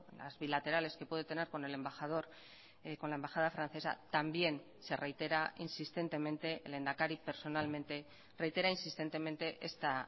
las bilaterales que puede tener con el embajador con la embajada francesa también se reitera insistentemente el lehendakari personalmente reitera insistentemente esta